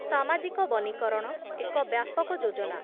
ସାମାଜିକ ବନୀକରଣ, ଏକ ବ୍ୟାପକ ଯୋଜନା ।